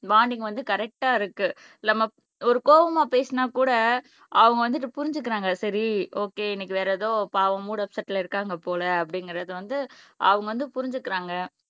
bonding வந்து கரெக்ட்டா இருக்கு நம்ம ஒரு கோவமா பேசினா கூட அவங்க வந்துட்டு புரிஞ்சுக்கிறாங்க சரி ஓகே இன்னைக்கு வேற ஏதோ பாவம் மூட் அப்செட்ல இருக்காங்க போல அப்படிங்கிறது வந்து அவங்க வந்து புரிஞ்சுக்கறாங்க